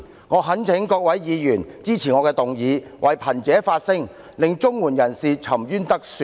我懇請各位議員支持我的議案，為貧者發聲，讓綜援受助人沉冤得雪。